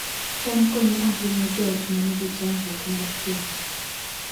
cham konyo ahinya joot ma nigi chandruok mar kech